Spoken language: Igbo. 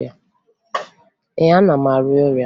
Ee, ana m arịa ọrịa